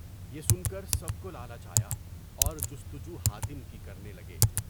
بہ سن کر سب کو لالچ آیا اور جستجو حاتم کی کرنے لگے۔